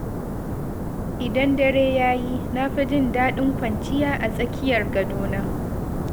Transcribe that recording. Idan dare ya yi, na fi jin daɗin kwanciya a tsakiyar gadona.